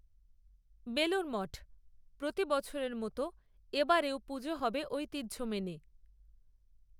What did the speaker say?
বেলুড় মঠ, প্রতি বছরের মতো এ বারেও পুজো হবে ঐতিহ্য মেনে